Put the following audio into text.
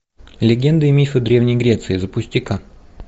легенды и мифы древней греции запусти ка